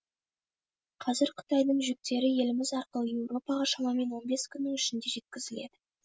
қазір қытайдың жүктері еліміз арқылы еуропаға шамамен он бес күннің ішінде жеткізіледі